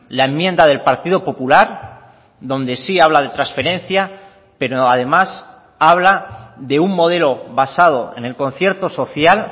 la enmienda del partido popular donde sí habla de transferencia pero además habla de un modelo basado en el concierto social